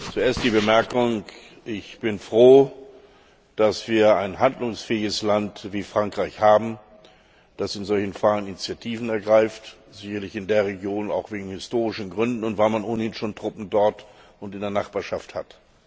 Zuerst die Bemerkung Ich bin froh, dass wir ein handlungsfähiges Land wie Frankreich haben, das in solchen Fragen Initiativen ergreift, sicherlich in der Region auch aus historischen Gründen und weil man ohnehin schon Truppen dort und in der Nachbarschaft hat.